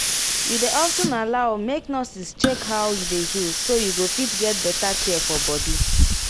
you dey of ten allow make nurses check how you dey heal so you go fit get better care for body